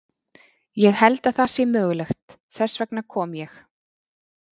Ég held að það sé mögulegt, þess vegna kom ég.